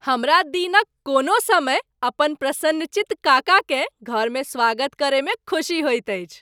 हमरा दिनक कोनो समय अपन प्रसन्नचित्त काकाकेँ घरमे स्वागत करयमे खुशी होइत अछि।